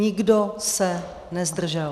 Nikdo se nezdržel.